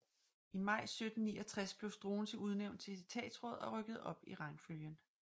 I maj 1769 blev Struensee udnævnt til etatsråd og rykkede op i rangfølgen